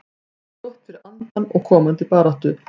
Þetta var gott fyrir andann og komandi baráttu.